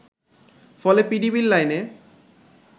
ফলে পিডিবির লাইনে